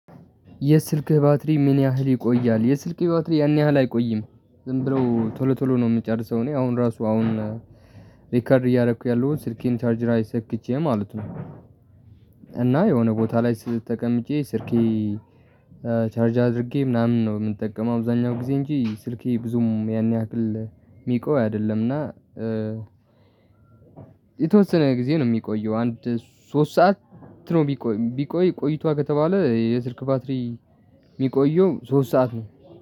የስልክህ ባትሪ ምን ያህል ይቆያል? የስልኬ ባትሪ ያን ያህል አይቆይም ዝም ብሎ ቶሎ ቶሎ ነው የሚጨርሰው። እኔ አሁን ራሱ አሁን ሪከርድ እያደረኩ ያሉት ስልኬን ቻርጅ ላይ ሰክቼ ማለት ነው። እና የሆነ ቦታ ላይ ስ ተቀምጬ ስልኬ ቻርጅ አድርጌ ምናምን ነው የምንጠቀመው አብዛኛው ጊዜ እንጂ ስልኬ ብዙም ያን ያክል የሚቆይ አይደለምና። የተወሰነ ጊዜ ነው የሚቆየው አንድ ሶስት ሰዓት ነው ቢቆይ ቢቆይ ቆይቷል ከተባለ የስልክ ባትሪ የሚቆየው ሶስት ሰዓት ነው